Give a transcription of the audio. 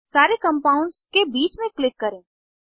सारे कंपाउंड्स के बीच में क्लिक करें